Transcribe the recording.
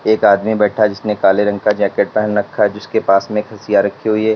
एक आदमी बैठा जिसने काले रंग का जैकेट पहन रखा जिसके पास में हाशिया रखी हुई है।